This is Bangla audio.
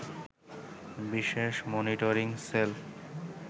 বিশেষ মনিটরিং সেল